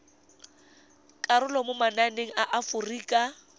karolo mo mananeng a aforika